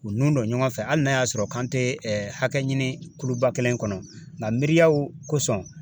U nun don ɲɔgɔn fɛ hali n'a y'a sɔrɔ kan tɛ ɛ hakɛ ɲini kuluba kelen kɔnɔ, nka miriyaw kosɔn